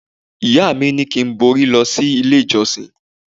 Ìyá mi ní kí n borí lọ sí ilé ìjọsìn.